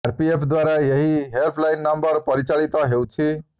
RPF ଦ୍ୱାରା ଏହି helpline number ପରିଚାଳିତ ହେଉଛି